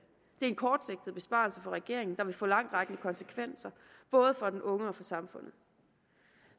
er en kortsigtet besparelse for regeringen der vil få langtrækkende konsekvenser både for den unge og for samfundet